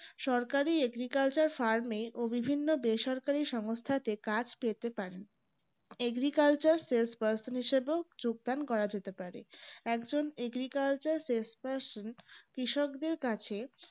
সরকারি agricultural farm এও বিভিন্ন বেসরকারি সংস্থা তে কাজ পেতে পারেন agriculture salesperson হিসেবেও যোগদান করা যেতে পারে একজন agriculture salesperson কৃষকদের কাছে